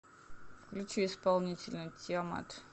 включи исполнителя тиамат